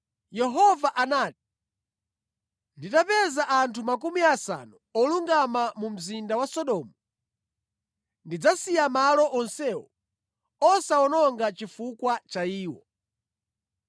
Yehova anati, “Nditapeza anthu makumi asanu olungama mu mzinda wa Sodomu, ndidzasiya malo onsewo osawawononga chifukwa cha iwo.”